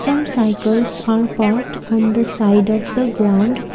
Some cycles are parked on the side of the ground